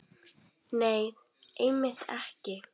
Nei, einmitt ekki.